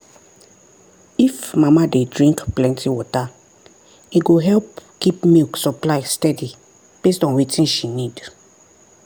if mama dey drink plenty water e go help keep milk supply steady based on wetin she need.